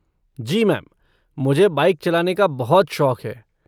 जी ma'am, मुझे bike चलाने का बहुत शौक है।